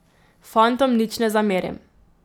Fantom nič ne zamerim.